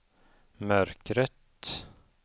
mörkret